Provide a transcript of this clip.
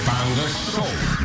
таңғы шоу